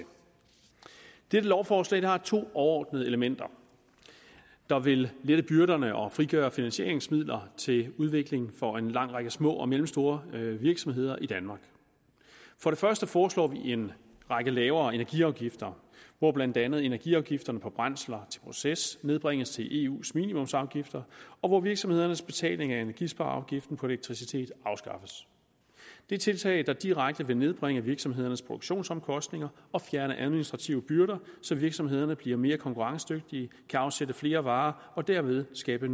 dette lovforslag har to overordnede elementer der vil lette byrderne og frigøre finansieringsmidler til udvikling for en lang række små og mellemstore virksomheder i danmark for det første foreslår vi en række lavere energiafgifter hvor blandt andet energiafgifterne på brændsler til proces nedbringes til eus minimumsafgifter og hvor virksomhedernes betaling af energispareafgiften på elektricitet afskaffes det er tiltag der direkte vil nedbringe virksomhedernes produktionsomkostninger og fjerne administrative byrder så virksomhederne bliver mere konkurrencedygtige kan afsætte flere varer og derved skabe